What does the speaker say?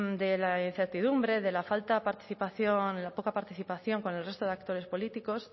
de la incertidumbre de la falta de participación de la poca participación con el resto de actores políticos